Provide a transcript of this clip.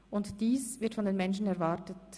Und dies wird von den Menschen erwartet.